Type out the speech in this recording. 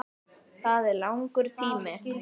Það er langur tími.